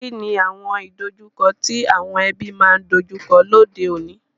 Kíni àwon ìdojúko ti àwon ebí ma n dojúko lóde ọ̀ní?